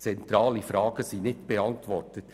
Zentrale Fragen sind nicht beantwortet.